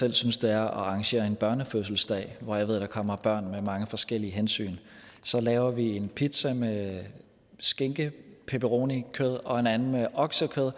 selv synes det er at arrangere en børnefødselsdag hvor jeg ved der kommer børn med mange forskellige hensyn så laver vi en pizza med skinke pepperoni kød og en anden med oksekød